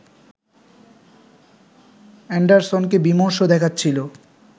অ্যান্ডারসনকে বিমর্ষ দেখাচ্ছিল